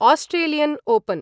Australian open